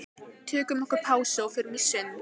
Þarf að skoða þau mál eitthvað frekar?